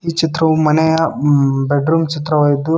ಈ ಚಿತ್ರವು ಮನೆಯ ಬೆಡ್ರೂಮ್ ಚಿತ್ರವಾಗಿದು--